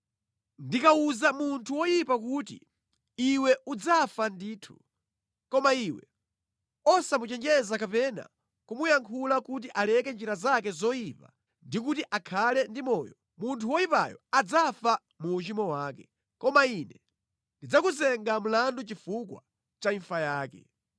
Ndikawuza munthu woyipa kuti, ‘Iwe udzafa ndithu,’ koma iwe osamuchenjeza kapena kumuyankhula kuti aleke njira zake zoyipa ndi kuti akhale ndi moyo, munthu woyipayo adzafa mu uchimo wake, koma Ine ndidzakuyimba mlandu chifukwa cha imfa yake.